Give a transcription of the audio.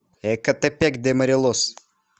экатепек де морелос